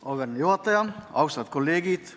Auväärne juhataja, austatud kolleegid!